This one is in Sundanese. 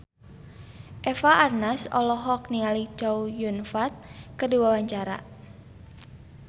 Eva Arnaz olohok ningali Chow Yun Fat keur diwawancara